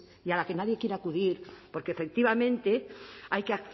y a la que nadie quiere acudir porque efectivamente hay que